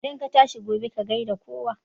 Idan ka tashi gobe, ka gai da kowa